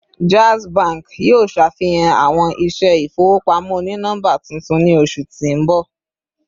Jazz Bank yoo ṣafihan awọn iṣẹ ifowopamọ oni nọmba tuntun ni oṣu ti n bọ